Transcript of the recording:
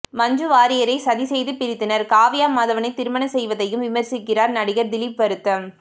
மஞ்சு வாரியரை சதிசெய்து பிரித்தனர் காவ்யா மாதவனை திருமணம் செய்ததையும் விமர்சிக்கிறார்கள் நடிகர் திலீப் வருத்தம்